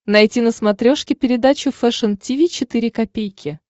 найти на смотрешке передачу фэшн ти ви четыре ка